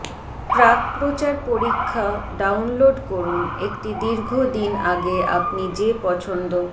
প্রাক্প্রচার পরীক্ষা ডাউনলোড করুন একটি দীর্ঘ দিন আগে আপনি যে পছন্দ